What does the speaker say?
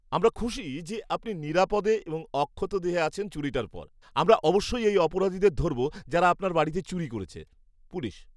আমরা খুশি যে আপনি নিরাপদে এবং অক্ষতদেহে আছেন চুরিটার পর। আমরা অবশ্যই এই অপরাধীদের ধরব যারা আপনার বাড়িতে চুরি করেছে। পুলিশ